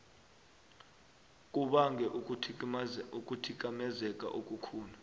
kubange ukuthikamezeka okukhulu